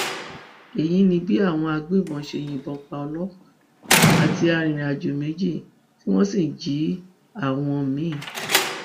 èyí ni bí àwọn agbébọn ṣe yìnbọn pa ọlọpàá àti arìnrìnàjò méjì tí wọn sì jí àwọn mi